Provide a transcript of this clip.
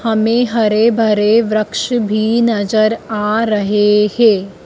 हमें हरे भरे वृक्ष भी नजर आ रहे है।